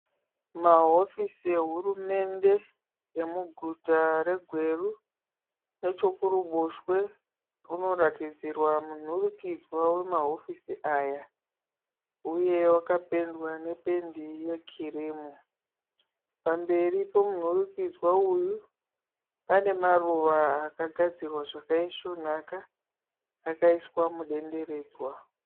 Mahofisi ehurumende emuguta reGweru nechokuruboshwe kunoratidzarwa munhurukidzwa wemahofisi aya huye wakapendwa nependi yekirimu. Pamberi pemunhurukidzwa uyu pane maruva akagadzirwa zvakaisvonaka akaiswa mudenderedzwa